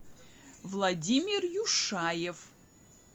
владимир юшаев